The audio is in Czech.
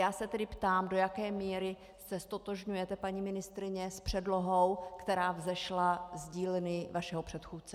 Já se tedy ptám, do jaké míry se ztotožňujete, paní ministryně, s předlohou, která vzešla z dílny vašeho předchůdce.